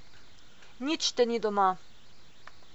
Nič te ni doma.